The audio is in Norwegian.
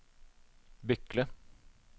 Bykle